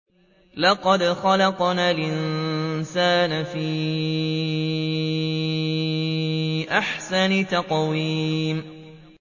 لَقَدْ خَلَقْنَا الْإِنسَانَ فِي أَحْسَنِ تَقْوِيمٍ